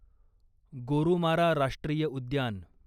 गोरुमारा राष्ट्रीय उद्यान